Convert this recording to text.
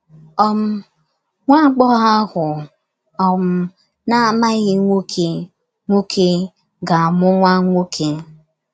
um ‘ Nwa agbọghọ ahụ um na - amaghị nwoke nwoke... ga - amụ nwa nwoke ’